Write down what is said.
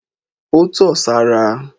Ó tọ̀ sára.